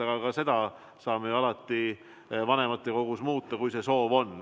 Aga ka seda saame ju alati vanematekogus muuta, kui see soov on.